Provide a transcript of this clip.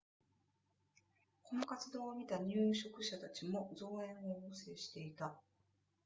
この活動を見た入植者たちも増援を要請していた